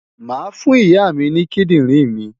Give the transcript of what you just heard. Màá fún Ìyá mi ní kídìrìn mi.